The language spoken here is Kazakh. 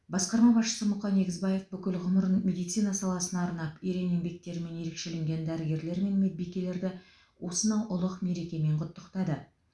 басқарма басшысы мұқан егізбаев бүкіл ғұмырын медицина саласына арнап ерен еңбектерімен ерекшеленген дәрігерлер мен медбикелерді осынау ұлық мерекемен құттықтады